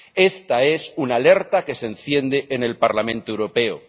Esta es una alerta que se enciende en el Parlamento Europeo.